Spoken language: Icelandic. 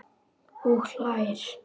Og hlær.